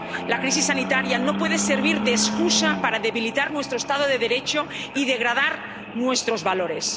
La crisis sanitaria no puede servir de excusa para debilitar nuestro Estado de Derecho y degradar nuestros valores.